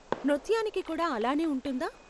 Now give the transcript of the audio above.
నృత్యానికి కూడా అలానే ఉంటుందా?